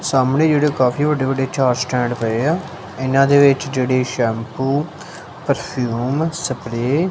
ਸਾਹਮਣੇ ਜਿਹੜੇ ਕਾਫੀ ਵੱਡੇ ਵੱਡੇ ਚਾਰ ਸਟੈਂਡ ਪਏ ਆ ਇਹਨਾਂ ਦੇ ਵਿੱਚ ਜਿਹੜੀ ਸ਼ੈਮਪੂ ਪਰਫਿਊਮ ਸਪਰੇ --